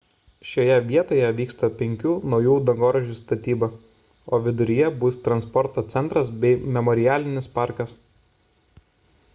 šioje vietoje vyksta penkių naujų dangoraižių statyba o viduryje bus transporto centras bei memorialinis parkas